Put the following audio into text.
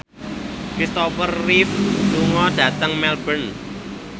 Kristopher Reeve lunga dhateng Melbourne